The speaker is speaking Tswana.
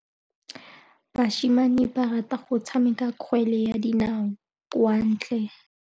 Basimane ba rata go tshameka kgwele ya dinaô kwa ntle.